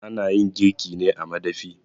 A nayin girki ne a madafi